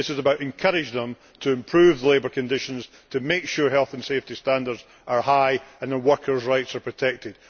It is about encouraging them to improve labour conditions and to make sure health and safety standards are high and that workers' rights are protected.